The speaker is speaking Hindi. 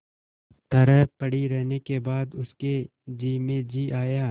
तरह पड़ी रहने के बाद उसके जी में जी आया